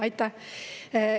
Aitäh!